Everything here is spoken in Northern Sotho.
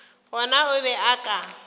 gona o be a ka